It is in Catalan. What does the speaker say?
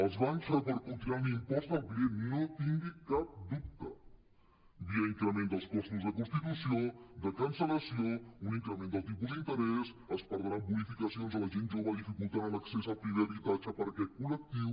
els bancs repercutiran l’impost al client no en tingui cap dubte via increment dels costos de constitució de cancel·lació un increment del tipus d’interès es perdran bonificacions a la gent jove difi·cultant l’accés al primer habitatge per aquest col·lectiu